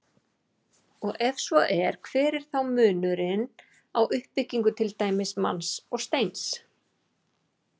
Og ef svo er, hver er þá munurinn á uppbyggingu til dæmis manns og steins?